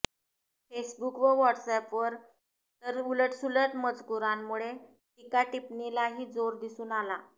Facebook व व्हॉट्स अॅपवर तर उलटसुलट मजकुरांमुळे टीकाटिपणीलाही जोर दिसून आला